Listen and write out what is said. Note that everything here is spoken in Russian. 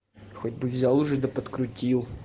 хоть бы взял уже до подкрутить